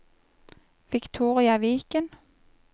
Victoria Viken